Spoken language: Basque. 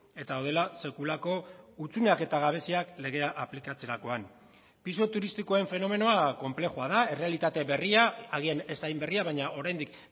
eta daudela sekulako hutsuneak eta gabeziak legea aplikatzerakoan pisu turistikoen fenomenoa konplexua da errealitate berria agian ez hain berria baina oraindik